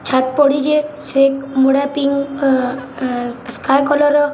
ଛାତ୍‌ ପଡ଼ିଛେ ସେ ମୁଡେ ପିଙ୍କ ଅଁ ଅଁ ସ୍କାଏ କଲର୍‌ ର--